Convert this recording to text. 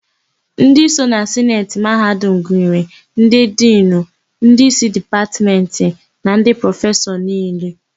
Ndị so na Sineti mahadum gụnyere: Ndị Dinu, Ndị isi Dipatmentị na ndị prọfesọ niile.